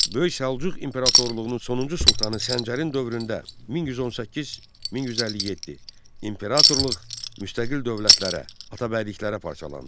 Böyük Səlcuq imperatorluğunun sonuncu sultanı Səncərin dövründə 1118-1157 imperatorluq müstəqil dövlətlərə, atabəyliklərə parçalandı.